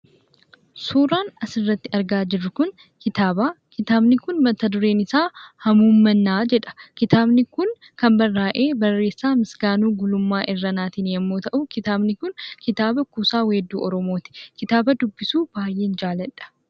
Suuraan as irratti argaa jiruu kun kitabaa. Kitabni kun mata dureen isaa 'Hamuummannaa' jedha. Kitabni kun kan barrahee barreesaa Misganuu Gulummaa Irrannaattin yommuu ta'u, kitabni kun kitabaa kuusaa weedduu Oromotti. Kitabaa dubbisuu baay'een jaalladha.